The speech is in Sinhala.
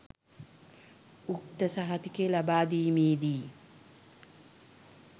උක්ත සහතිකය ලබාදීමේදී